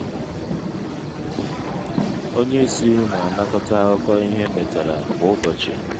onye isi na-anakọta akụkọ ihe emetara kwa ụbọchị.